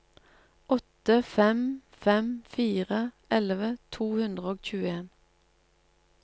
åtte fem fem fire elleve to hundre og tjueen